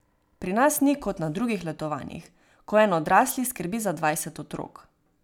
Pri nas ni kot na drugih letovanjih, ko en odrasli skrbi za dvajset otrok.